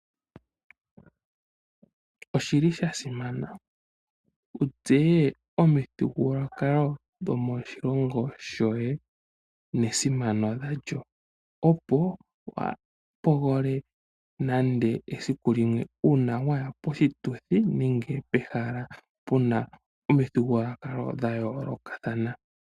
Oshili sha simana wu tseye omithigululwakalo dhomoshilongo shoye nesimano dha lyo, opo wa pogele nande esiku limwe una waya poshituthi nenge pehala pu na omithigululwakalo dha yolokathana.